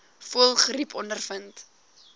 voëlgriep ondervind